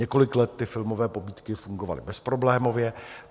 Několik let ty filmové pobídky fungovaly bezproblémově.